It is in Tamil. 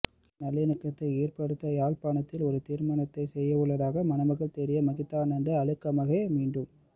இன நல்லிணக்கத்தை ஏற்படுத்த யாழ்ப்பாணத்திலும் ஒரு திருமணத்தை செய்யவுள்ளதாக மணமகள் தேடிய மகிதானந்த அழுத்கமகே மீண்டும்